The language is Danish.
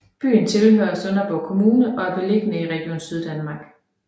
Byen tilhører Sønderborg Kommune og er beliggende i Region Syddanmark